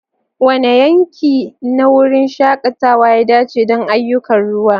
Wane yanki na wurin shakatawa ya dace don ayyukan ruwa?